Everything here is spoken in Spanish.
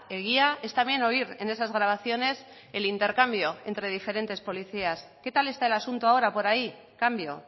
egia es también oír en esas grabaciones el intercambio entre diferentes policías qué tal está el asunto ahora por ahí cambio